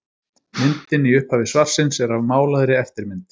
Myndin í upphafi svarsins er af málaðri eftirmynd.